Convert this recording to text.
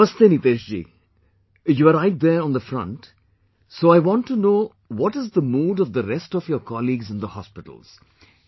Namaste Niteshji, you are right there on the front, so I want to know what is the mood of the rest of your colleagues in the hospitals